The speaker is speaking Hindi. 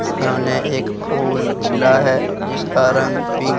सामने एक फूल खिला है जिसका रंग पिंक --